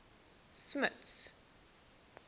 smuts